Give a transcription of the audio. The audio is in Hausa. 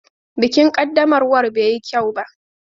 Bikin ƙaddamarwa bai yi kyau ba.